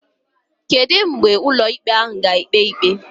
kedu mgbe ụlọ ikpe ahụ ga ekpe ikpe?